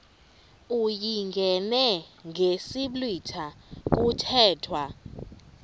uyingene ngesiblwitha kuthethwa